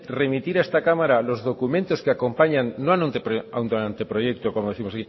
remitir a esta cámara los documentos que acompañan no a un anteproyecto como décimos